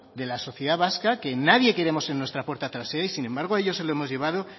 de la sociedad vasca que nadie queremos en nuestra puerta trasera y sin embargo a ellos se lo hemos llevado